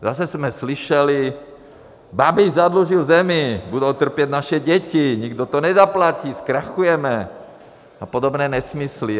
Zase jsme slyšeli: Babiš zadlužil zemi, budou trpět naše děti, nikdo to nezaplatí, zkrachujeme a podobné nesmysly.